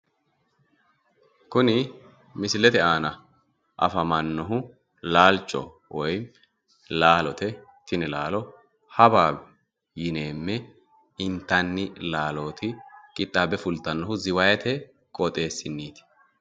kuni misilete aana afamannohu laalote woyimi laalchoho tini laalo hawaawi yineemme intanni laalooti qixxaabbe fultannohu ziwayiite qooxeessinniti.